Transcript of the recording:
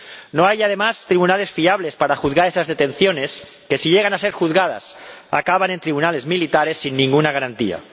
No hay, además, tribunales fiables para juzgar esas detenciones que, si llegan a ser juzgadas, acaban en tribunales militares, sin ninguna garantía.